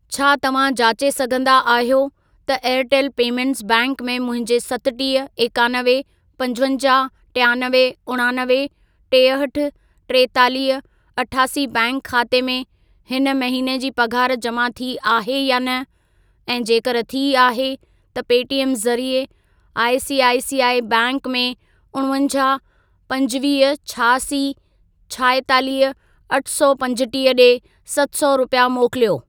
छा तव्हां जाचे सघंदा आहियो त एयरटेल पेमेंटस बैंक में मुंहिंजे सतटीह, एकानवे, पंजवंजाहु, टियानवे, उणानवे, टेहठि, टेतालीह, अठासी बैंक खाते में हिन महिने जी पघार जमा थी आहे या न ऐं जेकर थी आहे त पेटीएम ज़रिए आईसीआईसीआई बैंक में उणवंजाहु, पंजवीह, छहासी, छाएतालीह, अठ सौ पंजटीह ॾे सत सौ रुपिया मोकिलियो।